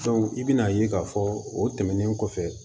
i bɛna ye k'a fɔ o tɛmɛnen kɔfɛ